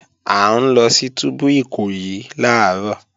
À ń lọ sí túbú Ìkòyí làárọ̀